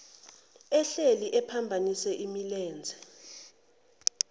ehleli ephambanise imilenze